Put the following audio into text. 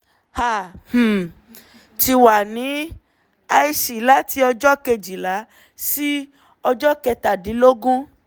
a um ti wà ní ic láti ọjọ́ kejìlá sí ọjọ́ kẹtàdínlógún